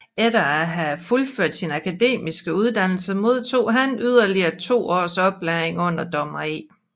Efter at have fuldført sin akademiske uddannelse modtog han yderligere to års oplæring under dommer E